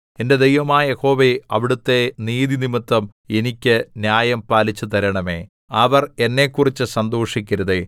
എന്റെ ദൈവമായ യഹോവേ അവിടുത്തെ നീതിനിമിത്തം എനിക്ക് ന്യായം പാലിച്ചുതരണമേ അവർ എന്നെക്കുറിച്ച് സന്തോഷിക്കരുതേ